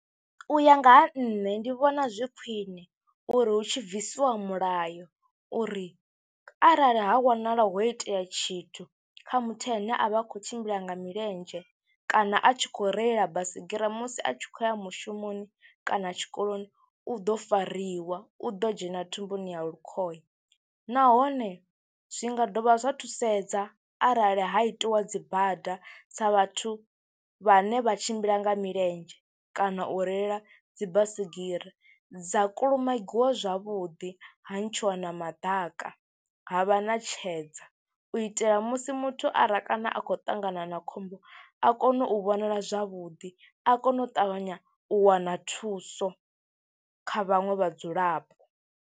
U ya nga ha nṋe ndi vhona zwi khwine uri hu tshi bvisiwa mulayo uri arali ha wanala ho itea tshithu kha muthu ane a vha a khou tshimbila nga milenzhe kana a tshi khou reila baisigira musi a tshi khou ya mushumoni kana tshikoloni u ḓo fariwa, u ḓo dzhena thumbuni ya lukhohe nahone zwi nga dovha zwa thusedza arali ha itiwa dzi bada dza vhathu vhane vha tshimbila nga milenzhe kana u reila dzi baisigira, dza kulumagiwa zwavhuḓi, ha ntshiwa na maḓaka, ha vha na tshedza u itela musi muthu ara kana a khou ṱangana na khombo a kone u vhonala zwavhuḓi, a kone u ṱavhanya u wana thuso kha vhaṅwe vhadzulapo.